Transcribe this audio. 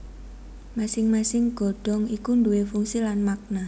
Masing masing godhong iku nduwe fungsi lan makna